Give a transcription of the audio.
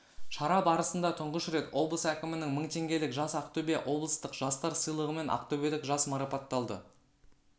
шара барысында тұңғыш рет облыс әкімінің мың теңгелік жас ақтөбе облыстық жастар сыйлығымен ақтөбелік жас марапатталды